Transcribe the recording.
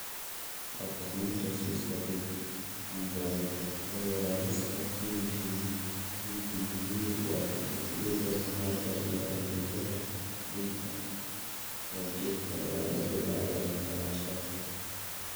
Phacomatosiska pigmentovasculariska (PPV) waa cillad maqaarka iyo xididdada dhiigga oo jirta laga bilaabo dhalashada.